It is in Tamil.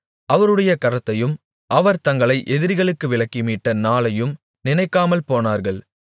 அவருடைய கரத்தையும் அவர் தங்களை எதிரிகளுக்கு விலக்கி மீட்ட நாளையும் நினைக்காமல் போனார்கள்